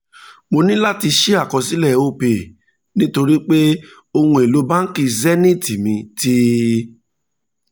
mo ní láti ṣí àkọsílẹ̀ opay nítorí pé ohun elo báńkì zenith mi ti